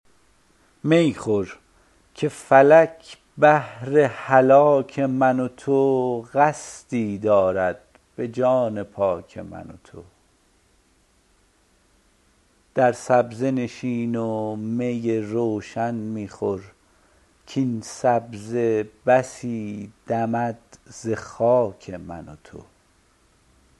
می خور که فلک بهر هلاک من و تو قصدی دارد به جان پاک من و تو در سبزه نشین و می روشن می خور کاین سبزه بسی دمد ز خاک من و تو